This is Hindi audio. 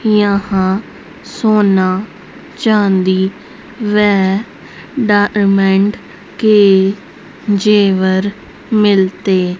यहां सोना चांदी व डायमंड के ज़ेवर मिलते --